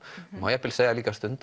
má jafnvel segja